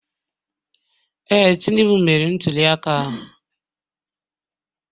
Ee, Tinubu meriri ntuliaka ahụ